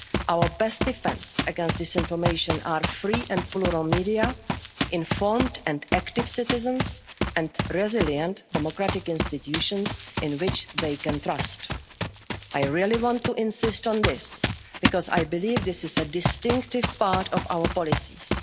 is self-defeating. Our best defence against disinformation are free and plural media, informed and active citizens and resilient democratic institutions in which they can trust. I really want to insist on this because I believe this is a distinctive part